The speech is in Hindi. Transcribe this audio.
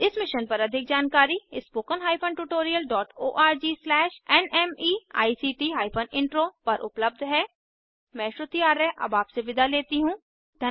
इस मिशन पर अधिक जानकारी spoken tutorialorgnmeict इंट्रो पर उपलब्ध है मैं श्रुति आर्य अब आपसे विदा लेती हूँ